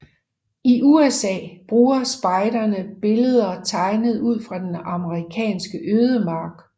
I USA bruger spejderne billeder tegnet ud fra den amerikanske ødemark